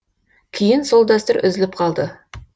кейін сол дәстүр үзіліп қалды